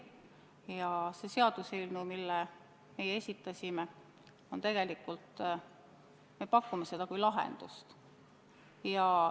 Ja oma seaduseelnõuga me pakume sellele lahendust.